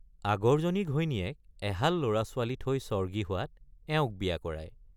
আগৰজনী ঘৈণীয়েক এহাল লৰাছোৱালী থৈ স্বৰ্গী হোৱাত এওঁক বিয়া কৰায়।